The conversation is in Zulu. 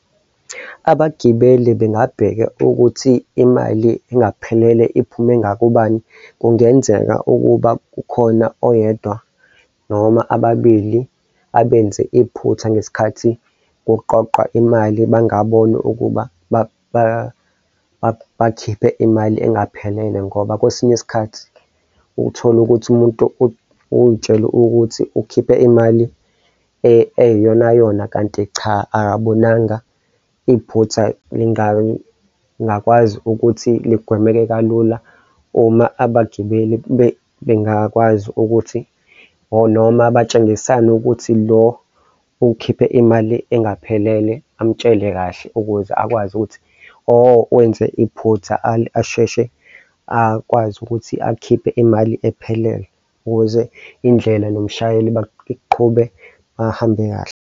Abagibeli bengabheka ukuthi imali engaphelele iphume ngakubani? Kungenzeka ukuba kukhona oyedwa noma ababili abenze iphutha ngesikhathi kuqoqwa imali, bangaboni ukuba bakhiphe imali engaphelele ngoba kwesinye isikhathi uthola ukuthi umuntu uy'tshele ukuthi ukhiphe imali eyiyonayona kanti cha, akabonanga iphutha lingakwazi ukuthi ligwemeke kalula uma abagibeli bengakwazi ukuthi or noma batshengisane ukuthi lo ukhiphe imali engaphelele amtshele kahle ukuze akwazi ukuthi oh, wenze iphutha asheshe akwazi ukuthi akhiphe imali ephelele ukuze indlela nomshayeli baqhube ahambe kahle.